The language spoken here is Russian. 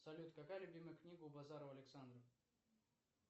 салют какая любимая книга у базарова александра